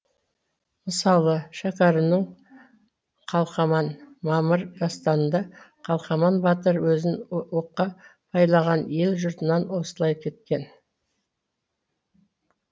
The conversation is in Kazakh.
мысалы шәкәрімнің қалқаман мамыр дастанында қалқаман батыр өзін оққа байлаған ел жұртынан осылай кеткен